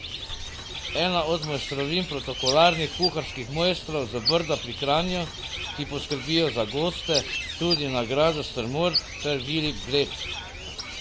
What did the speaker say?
Ena od mojstrovin protokolarnih kuharskih mojstrov z Brda pri Kranju, ki poskrbijo za goste tudi na Gradu Strmol ter Vili Bled.